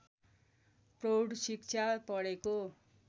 प्रौढ शिक्षा पढेको